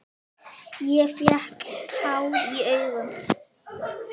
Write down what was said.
Ég fékk tár í augun.